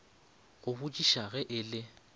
go botšiša ge e le